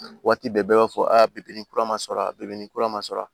Waati bɛɛ i b'a fɔ aa bi ni kura ma sɔrɔ a bɛɛ be kura ma sɔrɔ